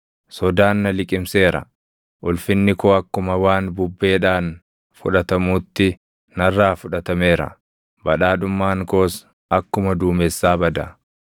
Sodaan na liqimseera; ulfinni koo akkuma waan bubbeedhaan fudhatamuutti narraa fudhatameera; badhaadhummaan koos akkuma duumessaa bada.